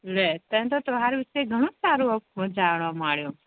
લે તને તો હારું છે ગણું સારું આવુ બધુ જાણવા માળિયુ